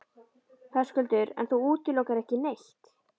Höskuldur: En þú útilokar ekki neitt?